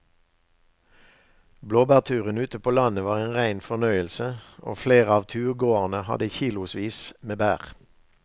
Blåbærturen ute på landet var en rein fornøyelse og flere av turgåerene hadde kilosvis med bær.